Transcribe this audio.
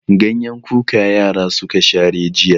Ganyen kuka yara suka share jiya.